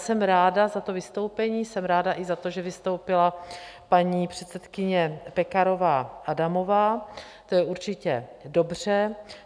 Jsem ráda za to vystoupení, jsem ráda i za to, že vystoupila paní předsedkyně Pekarová Adamová, to je určitě dobře.